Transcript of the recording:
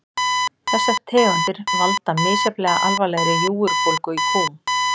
Þessar tegundir valda misjafnlega alvarlegri júgurbólgu í kúm.